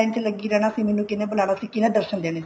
ਮੈਂ line ਚ ਲੱਗੀ ਰਹਿਣਾ ਸੀ ਮੈਨੂੰ ਕਿੰਨੇ ਬੁਲਾਨਾ ਸੀ ਮੈਨੂੰ ਕਿੰਨੇ ਦਰਸ਼ਨ ਦੇਣੇ ਸੀ